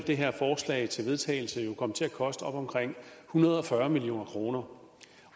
det her forslag til vedtagelse jo komme til at koste omkring en hundrede og fyrre million kroner